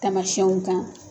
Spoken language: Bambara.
Tamasiyɛnw kan